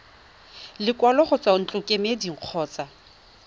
lekwalo go tswa ntlokemeding kgotsa